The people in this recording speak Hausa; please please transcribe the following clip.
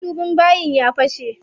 Madubin bayin ya fashe.